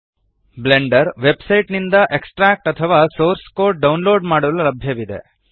Blender website ನಿಂದ extract ಅಥವಾ source code download ಮಾಡಲು ಲಭ್ಯವಿದೆ